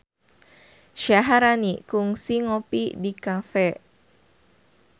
Syaharani kungsi ngopi di cafe